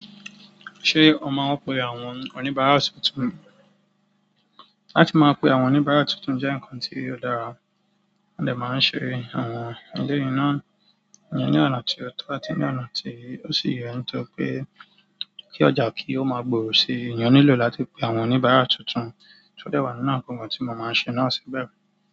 Ṣé ó máa wọ́pọ̀ àwọn oníbàárà tuntun? Áti máa pe àwọn oníbàárà tuntun jẹ́ ǹkan tí ó dára, wọ́n dẹ̀ máa ń ṣe àwọn eleyìí náà. Ìyẹn ní ọ̀nà tí ó tọ́ àti ní ọ̀nà tí ó sì yẹ̀, nítorí pé kí ọjà kí ó máa gbòòrò si, ènìyàn nílò láti pe àwọn oníbàárà tuntun, tó dẹ̀ wà nínú àwọn nkan tí mo máa ń ṣe náà síbẹ̀ rí.